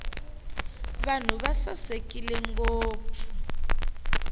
vanhu va sasekile ngopfu